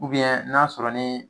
n'a sɔrɔ ni